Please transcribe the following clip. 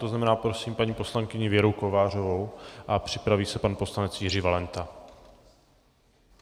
To znamená, prosím paní poslankyni Věru Kovářovou a připraví se pan poslanec Jiří Valenta.